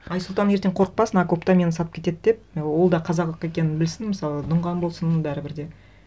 айсұлтан ертең қорықпасын окопта мені сатып кетеді деп ол да қазақ екенін білсін мысалы дұнған болсын бәрібір де